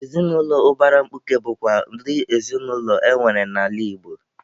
Ezinụlọ ụbara mkpuke bụkwa ụdị ezinụlọ enwere n'ala Igbo.